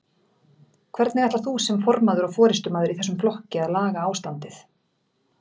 Hvernig ætlar þú sem formaður og forystumaður í þessum flokki að laga ástandið?